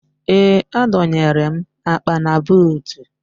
Ee, adọnyere m akpa na buutu